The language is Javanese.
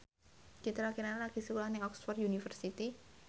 Citra Kirana lagi sekolah nang Oxford university